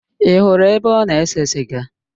Ị hụrụ ebe ọ na-ese siga?